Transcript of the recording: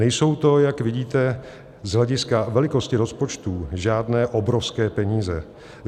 Nejsou to, jak vidíte, z hlediska velikosti rozpočtů žádné obrovské peníze.